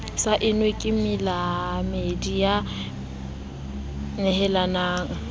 saennwe ke moamehi ya nehelanang